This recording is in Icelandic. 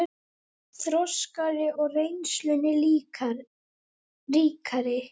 Þroskaðri og reynslunni ríkari!